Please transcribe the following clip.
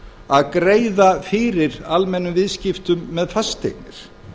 að greiða fyrir almennum viðskiptum með fasteignir